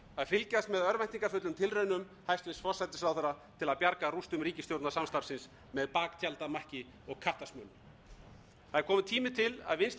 fylgjast með örvæntingarfullum tilraunum hæstvirtur forsætisráðherra til að bjarga rústum ríkisstjórnarsamstarfsins með baktjaldamakki og kattasmölun það er kominn tími til að vinstri stjórnin átti sig á því að